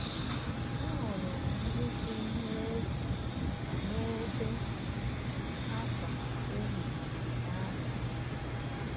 Ahụrụ m nnukwu ihe efu, na-ebe akwa ehihie na abalị.